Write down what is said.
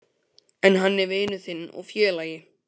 En hann er vinur þinn og félagi.